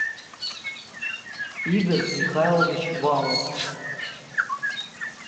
игорь михайлович валов